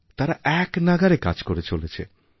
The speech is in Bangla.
তারা একনাগাড়ে কাজ করেচলেছে